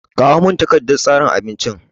Kawo min takardan tsarin abincin!